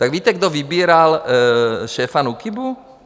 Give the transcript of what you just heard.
Tak víte, kdo vybíral šéfa NÚKIBu?